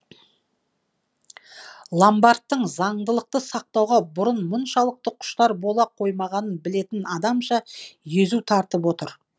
ломбардтың заңдылықты сақтауға бұрын мұншалықты құштар бола қоймағанын білетін адамша езу тартып отыр